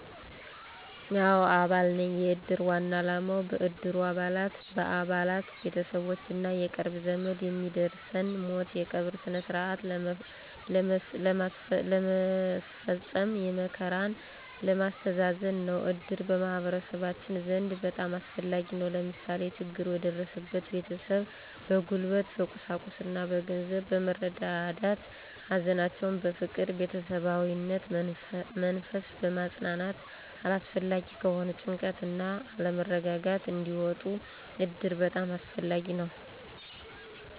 አዎ አባል ነኝ። የእድር ዋና አላማው በእድሩ አባላት፣ በአባላት፣ ቤተሠቦች እና የቅርብ ዘመድ የሚደርስን ሞት የቀብር ስነስርዓት ለመስፈፀም፣ መከራን ለማስተዛዘን ነው። እድር በማህበረሠባችን ዘንድ በጣም አስፈላጊ ነው። ለምሳሌ፦ ችግሩ የደረሠበትን ቤተሠብ በጉልበት፣ በቁሳቁስ እና በገንዘብ በመርዳዳት ሀዘናቸውን በፍቅር በቤተሠባዊነት መንፈስ በማፅናናት አላስፈላጊ ከሆነ ጭንቀት እና አለመረጋጋት እንዲወጡ እድር በጣም አስፈላጊ ነው